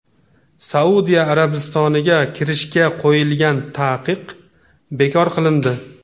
Saudiya Arabistoniga kirishga qo‘yilgan taqiq bekor qilindi.